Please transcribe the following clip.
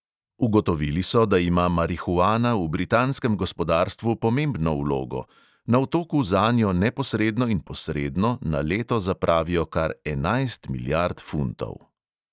Ugotovili so, da ima marihuana v britanskem gospodarstvu pomembno vlogo: na otoku zanjo neposredno in posredno na leto zapravijo kar enajst milijard funtov.